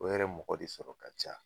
O yɛrɛ mɔgɔ de sɔrɔ ka ca